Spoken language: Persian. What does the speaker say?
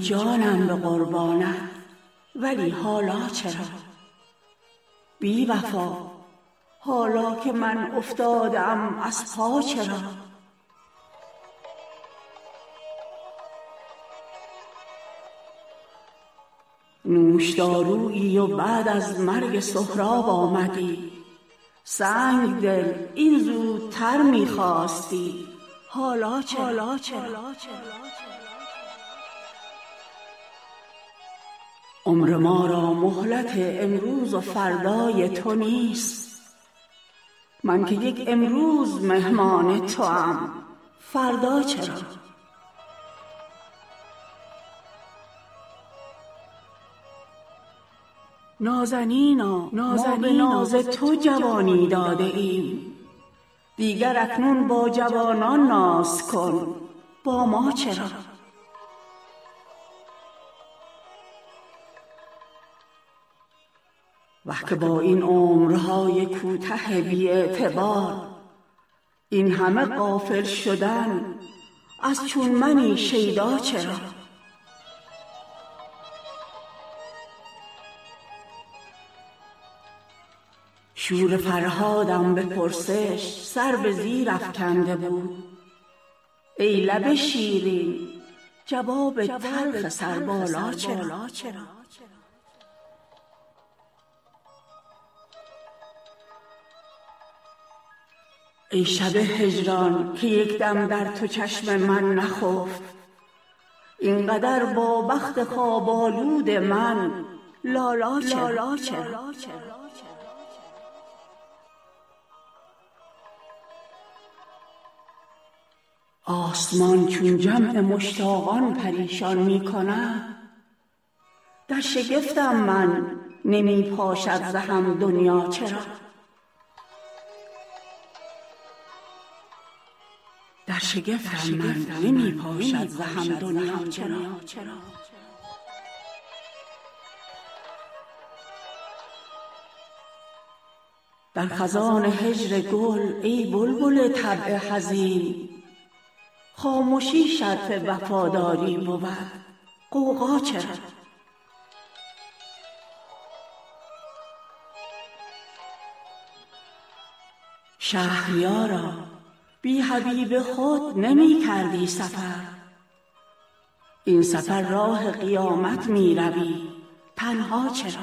جانم به قربانت ولی حالا چرا بی وفا حالا که من افتاده ام از پا چرا نوشدارویی و بعد از مرگ سهراب آمدی سنگ دل این زودتر می خواستی حالا چرا عمر ما را مهلت امروز و فردای تو نیست من که یک امروز مهمان توام فردا چرا نازنینا ما به ناز تو جوانی داده ایم دیگر اکنون با جوانان ناز کن با ما چرا وه که با این عمرهای کوته بی اعتبار این همه غافل شدن از چون منی شیدا چرا شور فرهادم به پرسش سر به زیر افکنده بود ای لب شیرین جواب تلخ سربالا چرا ای شب هجران که یک دم در تو چشم من نخفت این قدر با بخت خواب آلود من لالا چرا آسمان چون جمع مشتاقان پریشان می کند در شگفتم من نمی پاشد ز هم دنیا چرا در خزان هجر گل ای بلبل طبع حزین خامشی شرط وفاداری بود غوغا چرا شهریارا بی حبیب خود نمی کردی سفر این سفر راه قیامت می روی تنها چرا